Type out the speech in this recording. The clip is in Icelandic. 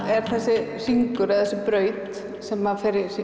er þessi hringlaga braut sem fer